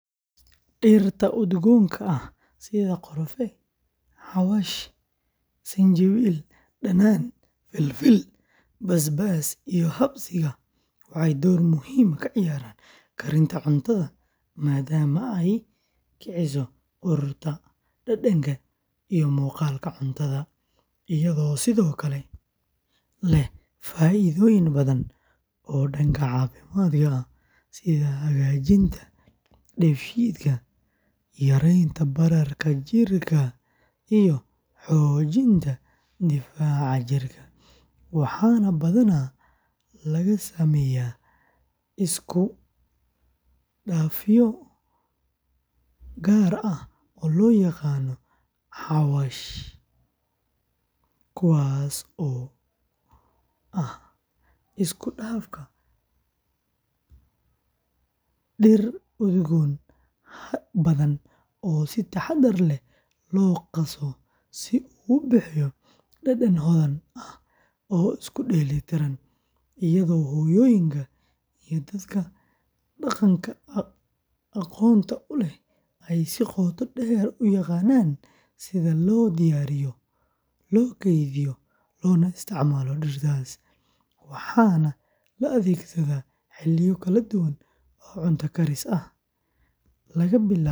Dhirta udgoonka ah sida qorfe, xawaash, sinjibiil, dhanaan, filfil, basbaas, iyo habsiga waxay door muhiim ah ka ciyaaraan karinta cuntada maadaama ay kiciso urta, dhadhanka, iyo muuqaalka cuntada, iyadoo sidoo kale leh faa’iidooyin badan oo dhanka caafimaadka ah, sida hagaajinta dheefshiidka, yareynta bararka jirka, iyo xoojinta difaaca jirka, waxaana badanaa laga sameeyaa iskudhafyo gaar ah oo loo yaqaan "xawaash" kaasoo ah isku dhafka dhir udgoon badan oo si taxaddar leh loo qaso si uu u bixiyo dhadhan hodan ah oo isku dheelitiran, iyadoo hooyooyinka iyo dadka dhaqanka aqoonta u leh ay si qoto dheer u yaqaannaan sida loo diyaariyo, loo keydiyo, loona isticmaalo dhirtaas, waxaana la adeegsadaa xilliyo kala duwan oo cunto karis ah, laga bilaabo maraqyada.